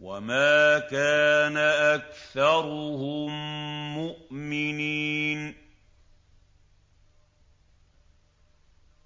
وَمَا كَانَ أَكْثَرُهُم مُّؤْمِنِينَ